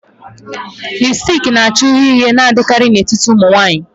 Lipusticki na-acha uhie uhie na-adịkarị n'etiti ụmụ nwanyị.